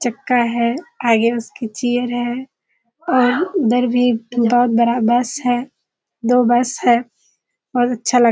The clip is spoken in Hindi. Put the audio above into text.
चक्‍का है आगे उसके चेयर है और अंदर भी बहुत बड़ा बस है दो बस है और अच्‍छा लगा।